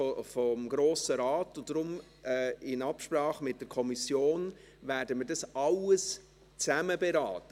Deshalb werden wir das alles, in Absprache mit der Kommission, zusammen beraten.